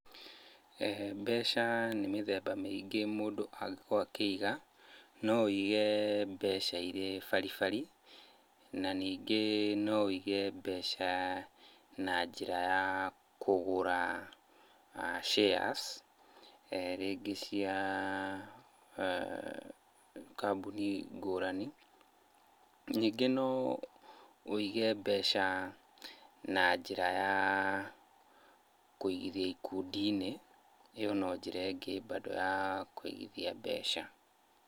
Mbeca nĩ mĩthemba mĩingĩ mũndũ angĩkorwo akĩiga, no wĩige mbeca irĩ baribari, na ningĩ no wĩige mbeca na njĩra ya kũgũra shares rĩngĩ cia kambũni ngũrani. Ningĩ no wĩige mbeca na njĩra ya kũigithia ikundi-inĩ, ĩyo no njĩra ĩngĩ bado ya kũigithia mbeca.